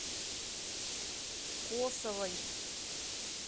косовой